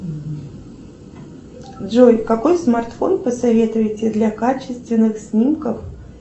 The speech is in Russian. джой какой смартфон посоветуете для качественных снимков